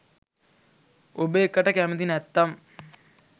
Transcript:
ඔබ එකට කැමති නැත්නම්